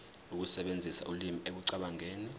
ukusebenzisa ulimi ekucabangeni